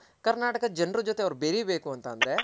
ಕರ್ನಾಟಕದ್ ಜನರ್ ಜೊತೆ ಅವ್ರ್ ಬೆರಿ ಬೇಕು ಅಂತ ಅಂದ್ರೆ